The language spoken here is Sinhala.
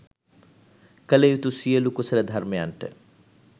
කළ යුතු සියලු කුසල ධර්මයන්ට